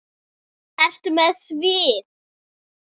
Ertu með svið?